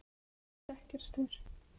stekkjarstaur